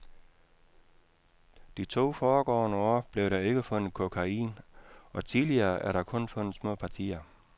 De to foregående år blev der ikke fundet kokain, og tidligere er der kun fundet små partier.